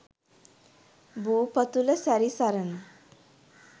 භූ පතුල සැරි සරන